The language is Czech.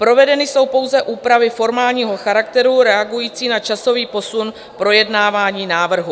Provedeny jsou pouze úpravy formálního charakteru reagující na časový posun projednávání návrhu.